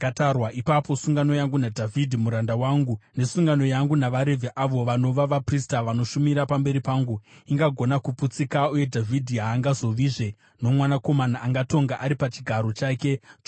ipapo sungano yangu naDhavhidhi muranda wangu, nesungano yangu navaRevhi avo vanova vaprista vanoshumira pamberi pangu, ingagona kuputsika uye Dhavhidhi haangazovizve nomwanakomana angatonga ari pachigaro chake choushe.